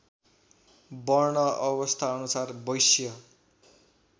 वर्ण अवस्थाअनुसार वैश्य